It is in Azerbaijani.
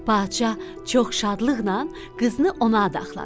Padşah çox şadlıqnan qızını ona adaxladı.